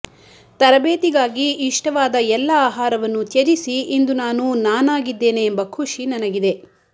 ತರಬೇತಿಗಾಗಿ ಇಷ್ಟವಾದ ಎಲ್ಲ ಆಹಾರವನ್ನು ತ್ಯಜಿಸಿ ಇಂದು ನಾನು ನಾನಾಗಿದ್ದೇನೆ ಎಂಬ ಖುಷಿ ನನಗಿದೆ